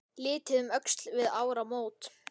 Litið um öxl við áramót.